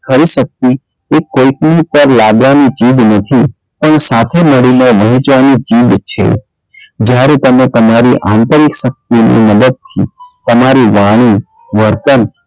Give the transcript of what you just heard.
કરી શક્તિ કે કોઈ પર લાદવાની ચીઝ નથી પણ સાથે મળીને વહેચવાની ચીઝ છે જયારે તમે તમારી આંતરિક શક્તિ ની મદદ થી તમારી વાણી, વર્તન,